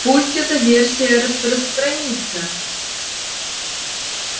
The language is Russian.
пусть эта версия распространится